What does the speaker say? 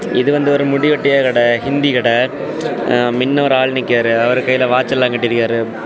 இது வந்து ஒரு முடி வெட்டிய கடை ஹிந்தி கடை ஆ மின்ன ஒரு ஆள் நிக்கியாரு அவர் கையில வாட்ச் எல்லா கட்டிருக்காரு.